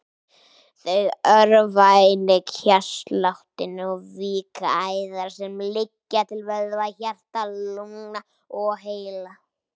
Þau örva einnig hjartsláttinn og víkka æðar sem liggja til vöðva, hjarta, lungna og heila.